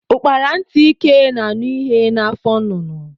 Ukpara ntị ike na anụ ihe na afọ nnụnụ.